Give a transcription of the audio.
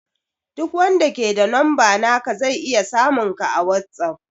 Duk wanda ke da numba naka zai iya samun ka a whatsapp